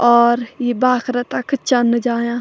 और यी बाख्रा तख चन्न जायां।